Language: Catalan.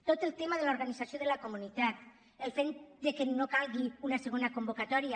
tot el tema de l’organització de la comunitat el fet que no calgui una segona convocatòria